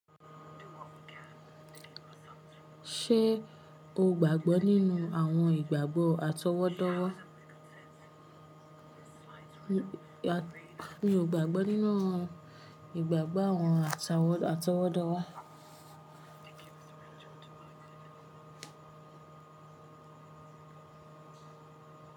Ṣé o gbàgbọ́ nínú àwọn ìgbàgbọ́ atọwọ́dowo? Mi ò gbàgbọ́ nínú ìgbàgbọ́ àwọn atọwọ́dá.